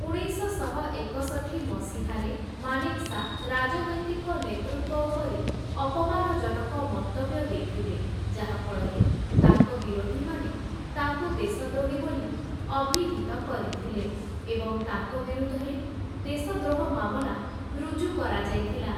ଉଣେଇଶଶହ ଏକଷଠି ମସିହାରେ, ମାନେକ୍‌ଶା ରାଜନୈତିକ ନେତୃତ୍ୱ ଉପରେ ଅପମାନଜନକ ମନ୍ତବ୍ୟ ଦେଇଥିଲେ, ଯାହାଫଳରେ ତାଙ୍କ ବିରୋଧୀମାନେ ତାଙ୍କୁ ଦେଶଦ୍ରୋହୀ ବୋଲି ଅଭିହିତ କରିଥିଲେ ଏବଂ ତାଙ୍କ ବିରୁଦ୍ଧରେ ଦେଶଦ୍ରୋହ ମାମଲା ରୁଜୁ କରାଯାଇଥିଲା ।